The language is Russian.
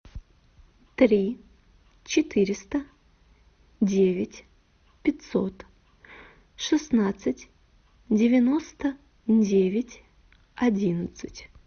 три четыреста девять пятьсот шестнадцать девяносто девять одиннадцать